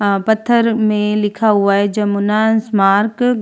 आ पत्थर में लिखा हुआ है जमुना ईसमार्क --